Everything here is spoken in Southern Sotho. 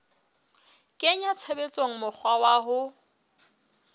kenya tshebetsong mokgwa wa ho